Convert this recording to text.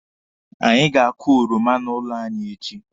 Anyị ga-akụ oroma n'ụlọ anyị echi.